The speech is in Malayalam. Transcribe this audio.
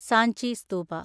സഞ്ചി സ്തൂപ